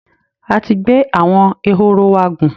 A ti gbé àwọn ehoro wa gùn